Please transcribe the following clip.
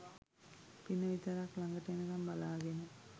පින විතරක් ළඟට එනකම් බලාගෙන